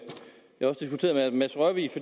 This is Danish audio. herre mads rørvig